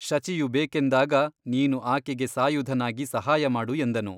ಶಚಿಯು ಬೇಕೆಂದಾಗ ನೀನು ಆಕೆಗೆ ಸಾಯುಧನಾಗಿ ಸಹಾಯಮಾಡು ಎಂದನು.